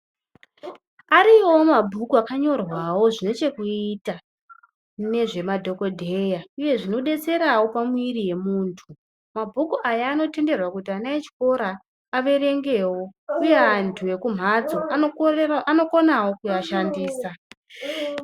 Ariyowo mabhuku akanyorwawo zvine chekuita nezvemadhokodheya uye zvinodetsera pamuiri wemuntu mabhuku Aya anotenderwa kuti vana vechikora averengewo uye antu ekumatso anokonawo kushandisa.